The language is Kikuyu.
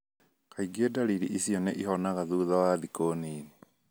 Kaingĩ ndariri icio nĩ ihonaga thutha wa thikũ nini.